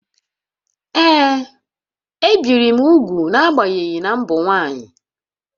Ee, ebìri m úgwù n’agbanyeghị na m bụ nwaanyị